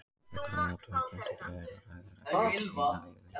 Þegar um ótímabundið hlé er að ræða er ekki vitað hvenær því lýkur.